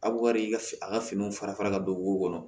A bɛ ka i ka a ka finiw fara fara ka don wo kɔnɔ